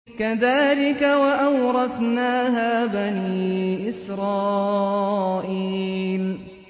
كَذَٰلِكَ وَأَوْرَثْنَاهَا بَنِي إِسْرَائِيلَ